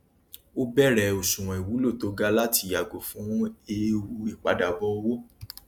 ó bẹrẹ òṣùwọn ìwúlò tó ga láti yago fún eewu ìpadàbọ owó